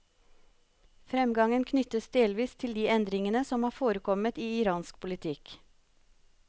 Fremgangen knyttes delvis til de endringene som har forekommet i iransk politikk.